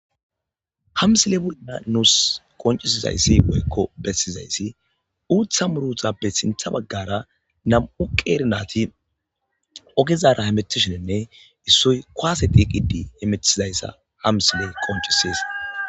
Ha misile bul;na nuus qoncisizayssi oykko bessizayssi uutha murutappe sintha baggara nam'u qeernati ogezara hemetishenenne issoy koase tiiqidi emetizayssa hamsile qoncisies.